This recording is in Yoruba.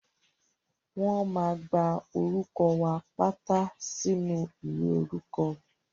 Wọ́n máa gba orúkọ wa pátá sínú ìwé orúkọ.